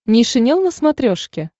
нейшенел на смотрешке